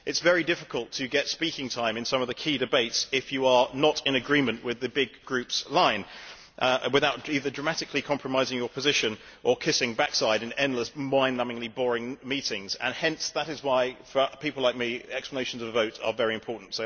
It is very difficult to get speaking time in some of the key debates if you are not in agreement with the big group's line, without either dramatically compromising your position or kissing backside in endless mind numbingly boring meetings, and that is why, for people like me, explanations of vote are very important.